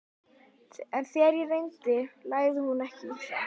En þegar á reyndi lagði hún ekki í það.